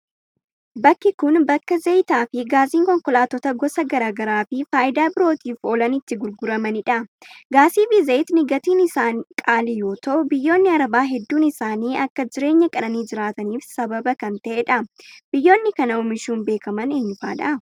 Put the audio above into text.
Bakki kun, bakka zayitaa fi gaasiin konkolaattota gosa gara garaa fi faayidaa birootif oolan itti gurguramanii dha. Gaasii fi zayitni gatiin isaa qaalii yoo ta'u, biyyoonni arabaa heddduun isaanii akka jireenya qananii jiraataniif sababa kan ta'eedha? Biyyoonni kana oomishuun beekaman eenyufaa dha?